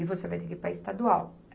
E você vai ter que ir para a estadual.